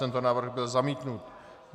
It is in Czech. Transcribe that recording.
Tento návrh byl zamítnut.